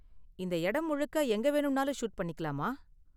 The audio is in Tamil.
இந்த இடம் முழுக்க எங்க வேணும்னாலும் ஷூட் பண்ணிக்கலாமா?